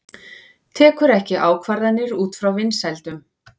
Tekur ekki ákvarðanir út frá vinsældum